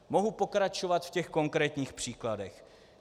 Mohu pokračovat v těch konkrétních příkladech.